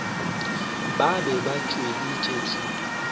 ba be ba hweditše thuto